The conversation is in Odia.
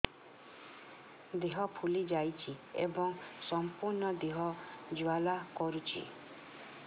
ଦେହ ଫୁଲି ଯାଉଛି ଏବଂ ସମ୍ପୂର୍ଣ୍ଣ ଦେହ ଜ୍ୱାଳା କରୁଛି